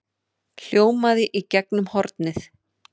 hljómaði í gegnum hornið.